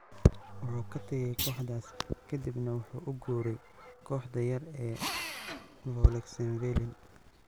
Wuxuu ka tagay kooxdaas, kadibna wuxuu u guuray kooxda yar ee Vaulx-en-Velin.